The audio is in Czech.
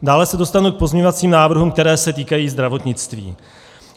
Dále se dostanu k pozměňovacím návrhům, které se týkají zdravotnictví.